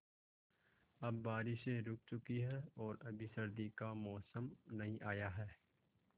अब बारिशें रुक चुकी हैं और अभी सर्दी का मौसम नहीं आया है